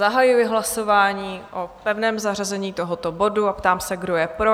Zahajuji hlasování o pevném zařazení tohoto bodu a ptám se, kdo je pro?